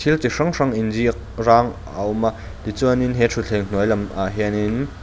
thil ti hrang hrang in ziak rang a awm a tichuanin he ṭhuthleng hnuai lam ah hianin.